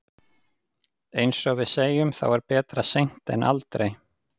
Eins og við segjum, þá er betra seint en aldrei.